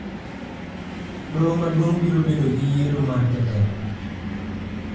Doho madung` biro bedo gi yiero mar jatendgi